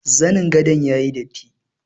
Zanin gadon yayi datti.